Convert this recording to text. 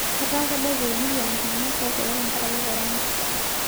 Etaa kebaiki emilion iltung'ana ootuata tenkaraki korona.